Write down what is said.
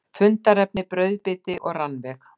Fundarefni: Brauðbiti og rannveig.